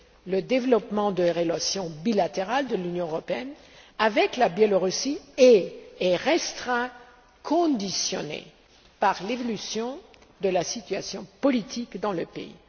Le développement des relations bilatérales entre l'Union européenne et le Belarus est et restera conditionné par l'évolution de la situation politique dans le pays.